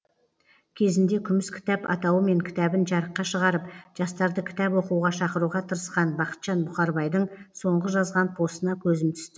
кезінде күміс кітап атауымен кітабын жарыққа шығарып жастарды кітап оқуға шақыруға тырысқан бақытжан бұқарбайдың соңғы жазған постына көзім түсті